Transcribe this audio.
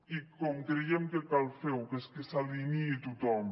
i com creiem que cal fer ho que és que s’alineï tothom